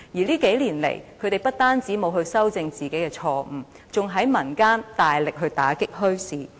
這數年來，他們不但沒有修正自己的錯誤，還在民間大力打擊墟市。